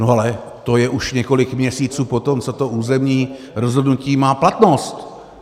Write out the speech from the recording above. No ale to je už několik měsíců po tom, co to územní rozhodnutí má platnost.